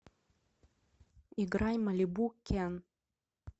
играй малибу кен